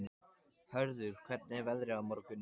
Hörður, hvernig er veðrið á morgun?